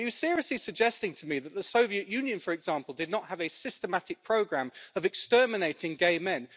Are you seriously suggesting to me that the Soviet Union, for example, did not have a systematic programme of exterminating gay men?